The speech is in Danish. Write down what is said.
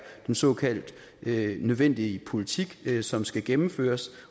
den såkaldt nødvendige politik som skal gennemføres